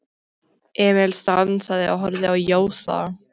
Emil stansaði og horfði á Jósa.